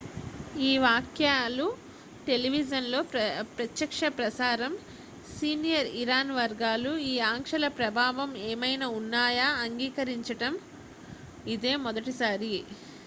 ఈ వ్యాఖ్యలు టెలివిజన్ లో ప్రత్యక్షప్రసారం సీనియర్ ఇరాన్ వర్గాలు ఈ ఆంక్షల ప్రభావం ఏమైనా ఉన్నాయని అంగీకరించడం ఇదే మొదటిసారి